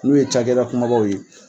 Olu ye cakɛda kumabaw ye.